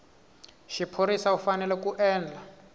xiphorisa u fanele ku endla